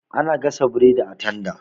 Ana gasa burodi a tanda.